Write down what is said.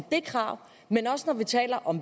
jeg at